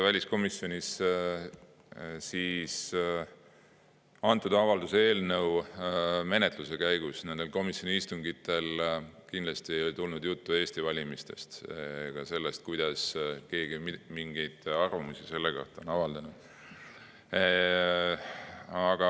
Väliskomisjoni istungitel antud avalduse eelnõu menetluse käigus kindlasti ei tulnud juttu Eesti valimistest ega sellest, kuidas keegi mingeid arvamusi selle kohta on avaldanud.